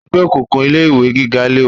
Ẹgbẹ́ òkùnkùn ilé ìwé gíga léwu